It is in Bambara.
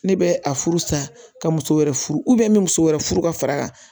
Ne bɛ a furu sa ka muso wɛrɛ furu n bɛ muso wɛrɛ furu ka far'a kan